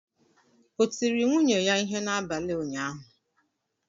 O tiri nwunye ya ihe n'abalị ụnyaahụ?